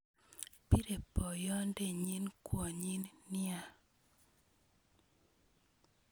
Bire boyodenyin kwonyin nia